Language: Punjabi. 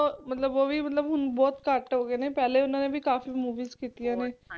ਓਹ ਵੀ ਮਤਲਬ ਬਹੁਤ ਘਟ ਹੋਗੇ ਨੇ ਪਹਿਲਾ ਓਹਨਾ ਨੇ ਕਫ਼ੀ Movies ਕੀਤੀਆਂ ਨੇ